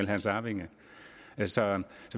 hans arvinger så